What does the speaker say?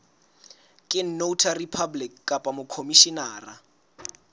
ke notary public kapa mokhomishenara